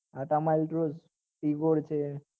તાતા